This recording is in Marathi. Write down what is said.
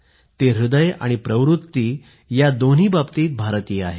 ते हृदय आणि वृत्ती या दोन्ही बाबतीत भारतीय आहे